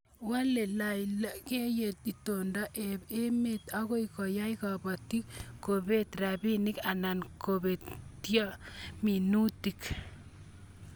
Walei lalaiengiet itondo ab emet ako yai kabatik ko peet rabinik anan kopetio minutik